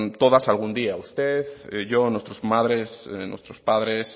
todas algún día usted yo nuestras madres nuestros padres